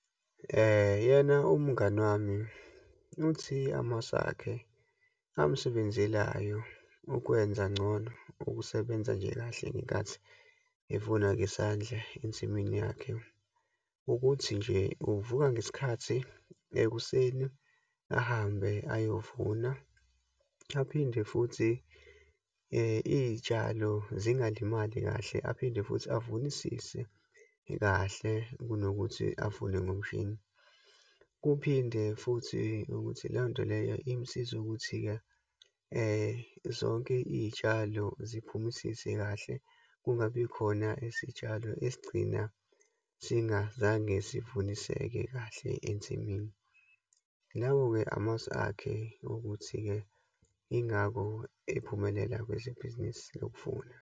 Yena umngani wami uthi, amasu akhe amsebenzeleyo ukwenza ngcono ukusebenza nje kahle ngenkathi evuna ngesandla ensimini yakhe. Ukuthi nje, uvuka ngesikhathi ekuseni ahambe ayovuna, aphinde futhi iyitshalo zingalimali kahle, aphinde futhi avunisise kahle kunokuthi avune ngomshini. Kuphinde futhi nokuthi leyonto leyo imsize ukuthi-ke zonke iyitshalo ziphumisise kahle, kungabikhona isitshalo esigcina singazange sivuniseke kahle ensimini. Lawo-ke, amasu akhe ukuthi-ke yingakho ephumelela kwezibhizinisi lokuvuna.